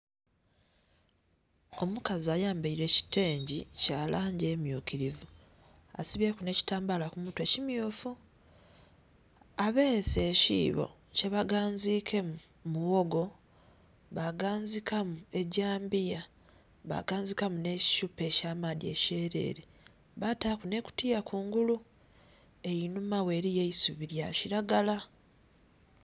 Omukazi ayambaile ekitengi kya langi emmyukilivu. Asibyeku nh'ekitambaala ku mutwe kimmyufu. Abeese ekiibo kye baganziikemu muwogo baganziikamu gyambiya, baganziikamu nh'ekithupa eky'amaadhi ekyelele baataku nh'ekutiya kungulu. Enhuma ghe eliyo eisubi lya kilagala.